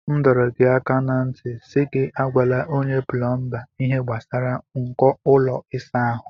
M dọrọ gị aka ná ntị si gị agwala onye plọmba ihe gbasara nko ụlọ ịsa ahụ.